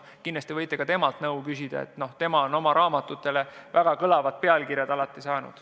Kindlasti võite ka temalt nõu küsida, tema on oma raamatutele väga kõlavad pealkirjad pannud.